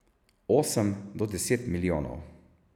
Osem do deset milijonov.